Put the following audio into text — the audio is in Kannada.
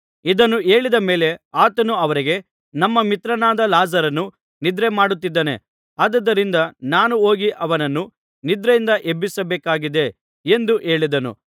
ಇದನ್ನು ಹೇಳಿದ ಮೇಲೆ ಆತನು ಅವರಿಗೆ ನಮ್ಮ ಮಿತ್ರನಾದ ಲಾಜರನು ನಿದ್ರೆ ಮಾಡುತ್ತಿದ್ದಾನೆ ಆದುದರಿಂದ ನಾನು ಹೋಗಿ ಅವನನ್ನು ನಿದ್ರೆಯಿಂದ ಎಬ್ಬಿಸಬೇಕಾಗಿದೆ ಎಂದು ಹೇಳಿದನು